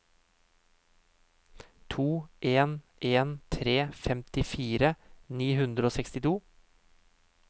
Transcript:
to en en tre femtifire ni hundre og sekstito